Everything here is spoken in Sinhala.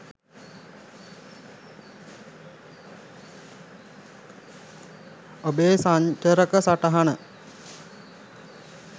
ඔබෙ සන්චරක සටහන